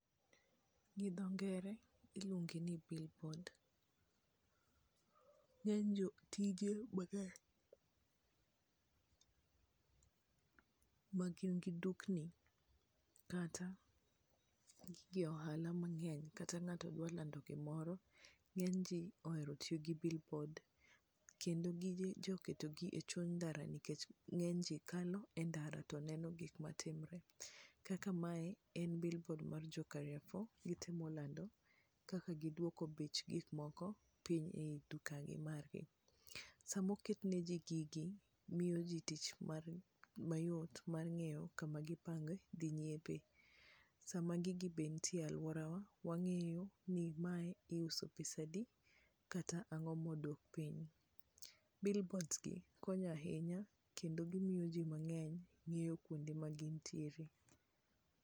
Gi dho ngere iluonge ni billboard. Ng'eny jotije mang'eny magin gi dukni kata gige ohala mang'eny, kata ng'ato dwaro lando gimoro, ng'eny ji ohero tiyo gi billboard. Kendo gijoketogi e chuny ndara nikech ng'eny ji kalo e ndara to neno gik ma timore. Kaka mae en billboard mar jo Carrefour, gitemo lando kaka giduoko bech gikmoko piny e duka gi margi. Sama oketneji gigi, miyo ji tich mar mayot, mar ng'eyo kama gipango dhi nyiepe. Sama gigi be nitie alworawa wang'eyo ni mae iuso pesa adi, kata ang'o ma odok piny. Billboards gi konyo ahinya, kendo gimiyo ji mang'eny ng'eyo kuonde ma gintiere.